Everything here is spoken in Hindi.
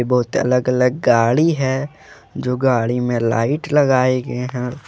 बहुत अलग अलग गाड़ी है जो गाड़ी में लाइट लगाए गए हैं।